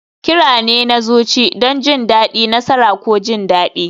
Kira ne na zuci don jin daɗi, nasara, ko jin daɗi.